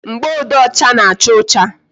Mgboode ọcha na-acha ọcha